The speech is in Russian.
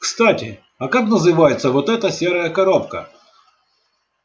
кстати а как называется вот эта серая коробка